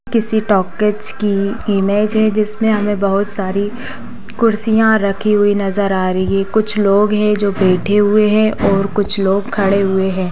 किसी टॉकीज की इमेज है जिसमें हमे बहुत सारी कुर्सियां रखी हुई नजर रही है कुछ लोग है जो बैठे हुए है और कुछ लोग खड़े हुए है।